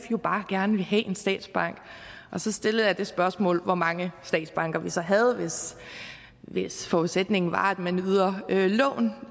jo bare gerne vil have en statsbank så stillede jeg det spørgsmål om hvor mange statsbanker vi så havde hvis forudsætningen var at man yder lån